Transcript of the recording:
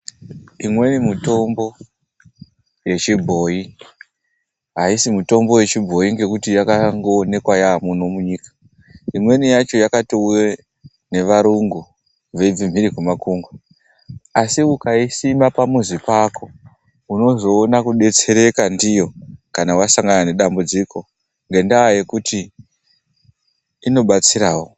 Imweni mitombo yechibhoyi, aisi mitombo yechibhoyi ngekuti yakangooneka yaamuno munyika. Imweni yacho yakatouya nevarungu veibva mphiri kwemakungwa. Asi ukaisima pamuzi pako, unozoona kudetsereka ndiyo kana wasangana nedambudziko. Ngendaa yekuti inobatsirawo.